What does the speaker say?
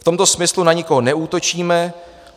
V tomto smyslu na nikoho neútočíme.